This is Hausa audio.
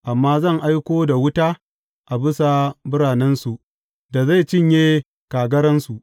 Amma zan aiko da wuta a bisa biranensu da zai cinye kagaransu.